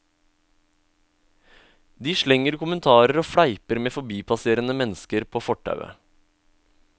De slenger kommentarer og fleiper med forbipasserende mennesker på fortauet.